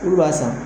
Olu b'a san